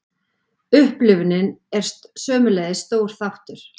Upplifunin er sömuleiðis stór þáttur.